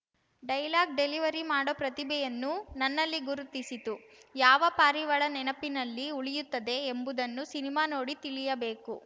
dialogue delivery ಮಾಡೋ ಪ್ರತಿಭೆಯನ್ನು ನನ್ನಲ್ಲಿ ಗುರುತಿಸಿತು ಯಾವ ಪಾರಿವಾಳ ನೆನಪಿನಲ್ಲಿ ಉಳಿಯುತ್ತದೆ ಎಂಬುದನ್ನು ಸಿನಿಮಾ ನೋಡಿ ತಿಳಿಯಬೇಕು